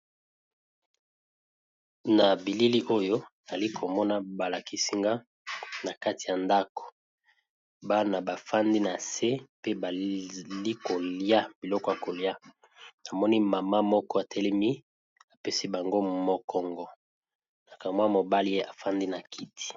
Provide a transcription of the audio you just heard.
Na bilili oyo nazali komona balakisi nga eza na ndako bana bafandi nase baza kolya namoni maman atelemi apesi bango mokongo mobali afandi na kiti.